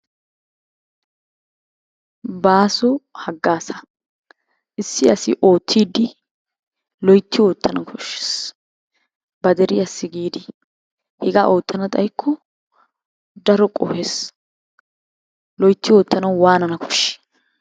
Baaso haggazaa. Issi asi oottiidi loyitti oottanawu koshshees ba deriyasi giidi. Hega gidana xayikko daro qohees. Loyitti oottanawu waanana koshshii?